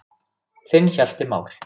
Þinn Hjalti Már.